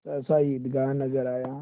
सहसा ईदगाह नजर आया